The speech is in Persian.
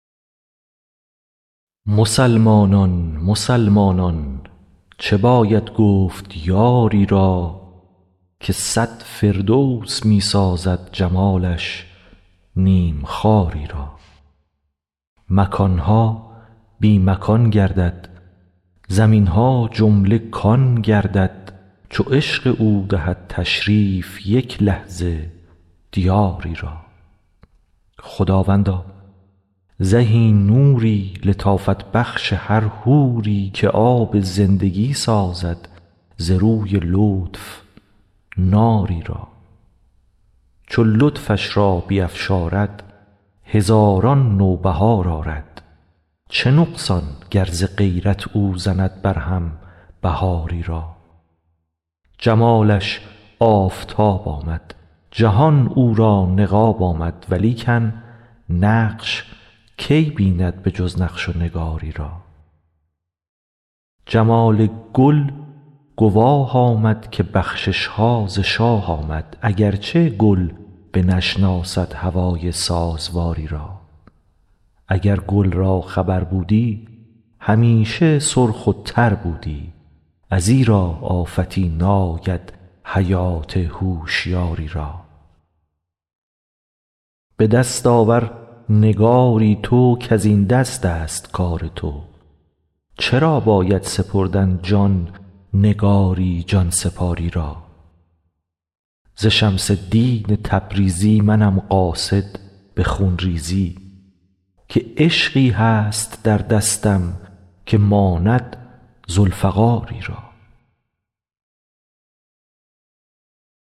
مسلمانان مسلمانان چه باید گفت یاری را که صد فردوس می سازد جمالش نیم خاری را مکان ها بی مکان گردد زمین ها جمله کان گردد چو عشق او دهد تشریف یک لحظه دیاری را خداوندا زهی نوری لطافت بخش هر حوری که آب زندگی سازد ز روی لطف ناری را چو لطفش را بیفشارد هزاران نوبهار آرد چه نقصان گر ز غیرت او زند برهم بهاری را جمالش آفتاب آمد جهان او را نقاب آمد ولیکن نقش کی بیند به جز نقش و نگاری را جمال گل گواه آمد که بخشش ها ز شاه آمد اگر چه گل بنشناسد هوای سازواری را اگر گل را خبر بودی همیشه سرخ و تر بودی ازیرا آفتی ناید حیات هوشیاری را به دست آور نگاری تو کز این دستست کار تو چرا باید سپردن جان نگاری جان سپار ی را ز شمس الدین تبریزی منم قاصد به خون ریزی که عشقی هست در دستم که ماند ذوالفقاری را